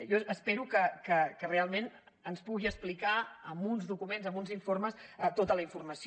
jo espero que realment ens pugui explicar amb uns documents amb uns informes tota la informació